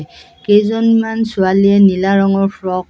কেইজনমান ছোৱালীয়ে নীলা ৰঙৰ ফ্ৰক .